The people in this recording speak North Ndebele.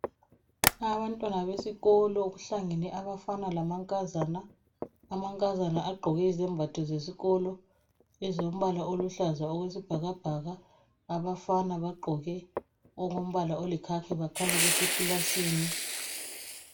Abantwana besikolo kuhlangene abafana lamankazana ,amankazana agqoke izembatho zesikolo ezilombala oluhlaza okwesibhakabhaka abafana bagqoke okombala oli khakhi bakhanya besekilasini.